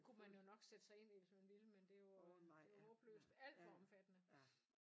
Det kunne man jo nok sætte sig ind i hvis man ville med det jo det jo håbløst alt for omfattende